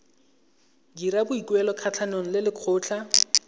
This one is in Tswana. dira boikuelo kgatlhanong le lekgotlha